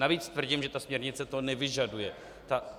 Navíc tvrdím, že ta směrnice to nevyžaduje.